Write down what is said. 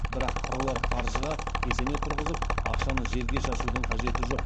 бірақ қыруар қаржыға кесене тұрғызып ақшаны желге шашудың қажеті жоқ